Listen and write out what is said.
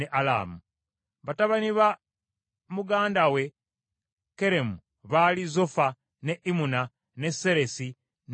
Batabani ba muganda we Keremu baali Zofa, ne Imuna, ne Seresi ne Amali.